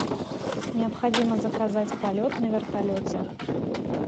необходимо заказать полет на вертолете